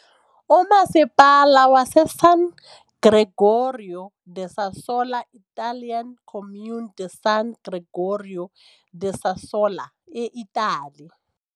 uMasipala waseSan Gregorio da Sassola, Italian-Comune di San Gregorio da Sassola, eItali .